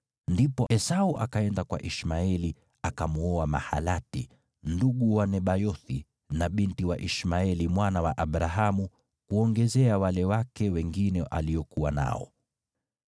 Ndipo Esau akaenda kwa Ishmaeli, akamwoa Mahalati, ndugu wa Nebayothi na binti wa Ishmaeli mwana wa Abrahamu, kuongezea wale wake wengine aliokuwa nao.